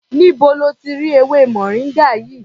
Níbo lo ti rí ewémoringa yìí?